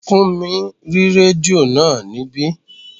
Fúnmi rí rédíò náà níbí